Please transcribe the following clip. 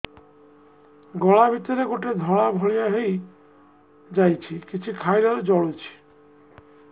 ଗଳା ଭିତରେ ଗୋଟେ ଧଳା ଭଳିଆ ହେଇ ଯାଇଛି କିଛି ଖାଇଲାରୁ ଜଳୁଛି